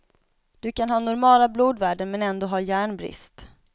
Du kan ha normala blodvärden men ändå ha järnbrist.